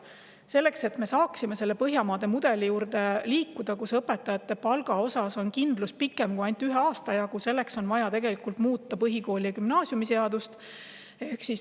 Selleks, et me saaksime liikuda Põhjamaade mudeli poole, kus õpetajate palga puhul on kindlus pikemaks ajaks kui ainult üheks aastaks, on vaja muuta põhikooli- ja gümnaasiumiseadust.